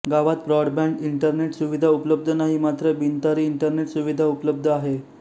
गावात broadband internet सुविधा उपलब्ध नाही मात्र बिनतारी इंटरनेट सुविधा उपलब्ध आहे